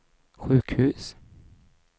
sjukhus